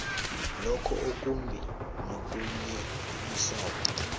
lokho okumbi nokunyenyisako